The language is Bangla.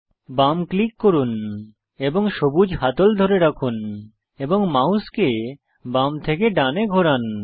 বাম ক্লিক করুন এবং সবুজ হাতল ধরে রাখুন এবং মাউস বাম থেকে ডানে ঘোরান